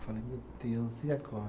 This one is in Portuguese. Falei, meu Deus, e agora?